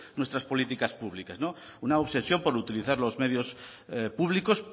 nuestras políticas públicas una obsesión por utilizar los medios públicos